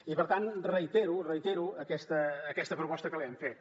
i per tant reitero reitero aquesta proposta que li hem fet